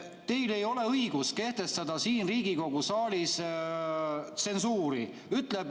Teil ei ole õigust kehtestada siin Riigikogu saalis tsensuuri.